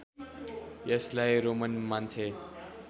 यसलाई रोमन मान्छे